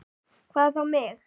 Hvað þá mig.